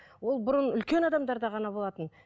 ол бұрын үлкен адамдарда ғана болатын